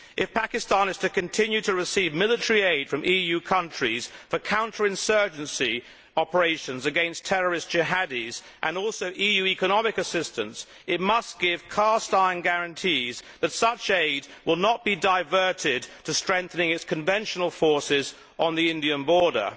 If Pakistan is to continue to receive military aid from EU countries for counter insurgency operations against terrorist jihadis, and also EU economic assistance, it must give cast iron guarantees that such aid will not be diverted to strengthening its conventional forces on the Indian border.